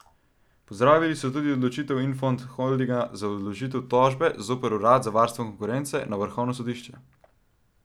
Pozdravili so tudi odločitev Infond Holdinga za vložitev tožbe zoper urad za varstvo konkurence na vrhovno sodišče.